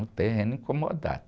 Um terreno in comodato.